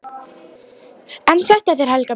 EN SÆTT AF ÞÉR, HELGA MÍN!